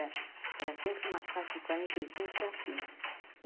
Era sempre uma classe de quarenta e cinco para cima.